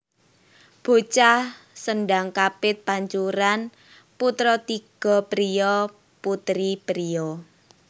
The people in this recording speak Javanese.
Bocah Sendhang kapit pancuran putra tiga priya putri priya